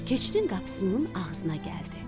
Keçinin qapısının ağzına gəldi.